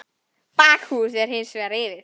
Bakhús er hins vegar rifið.